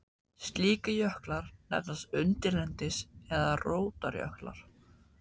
Slíkir jöklar nefnast undirlendis- eða rótarjöklar.